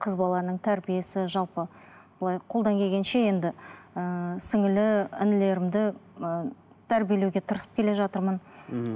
қыз баланың тәрбиесі жалпы былай қолдан келгенше енді ііі сіңлілі інілерімді ііі тәрбиелеуге тырысып келе жатырмын мхм